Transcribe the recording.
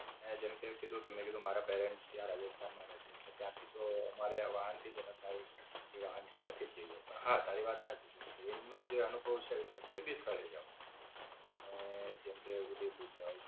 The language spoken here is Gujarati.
અને જેમકે પેલું જેમકે તું મારા prents ત્યાં રાજસ્થાન માં રે છે. એટલે ત્યાંથી તો મારે આ વાહન થી જ અમે પ્રાઇવેટ જે વાહન છે ત્યાંથી જ જઇયે. પણ હા, તારી વાત સાચી કે ટ્રેન નો અનુભવ છે તમે કોઈ ભી સ્થળે જાઓ. તમે જેમકે ઉદયપુર જાવ.